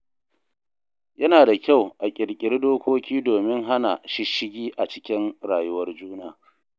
Yana da kyau a ƙirƙiri dokoki domin hana shisshigi a cikin rayuwar juna.